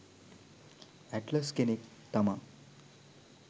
Atlas කෙනෙක් තමා.